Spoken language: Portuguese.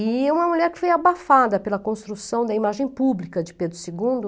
E é uma mulher que foi abafada pela construção da imagem pública de Pedro segundo.